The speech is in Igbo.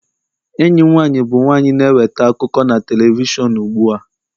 enyi m nwanyị bụ nwanyị na-eweta akụkọ na telivishọn ugbu a